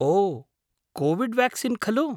ओ, covid vaccine खलु?